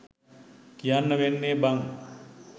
කියන්න වෙන්නේ බන්.